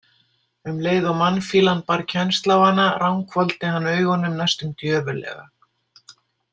Um leið og mannfýlan bar kennsl á hana ranghvolfdi hann augunum næstum djöfullega.